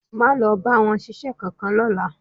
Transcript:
Máa lọ bá wọn ṣiṣẹ́ kankan lọ́la